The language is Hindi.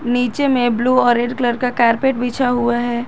नीचे में ब्लू और रेड कलर का कारपेट बिछा हुआ है।